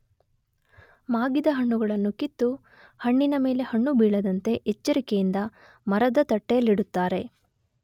ಮಾಗಿದ ಹಣ್ಣುಗಳನ್ನು ಕಿತ್ತು ಹಣ್ಣಿನಮೇಲೆ ಹಣ್ಣು ಬೀಳದಂತೆ ಎಚ್ಚರಿಕೆಯಿಂದ ಮರದ ತಟ್ಟೆಯಲ್ಲಿಡುತ್ತಾರೆ